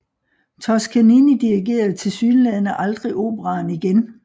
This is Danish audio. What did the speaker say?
Toscanini dirigerede tilsyneladende aldrig operaen igen